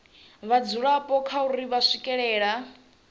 vhadzulapo kha uri vha swikelela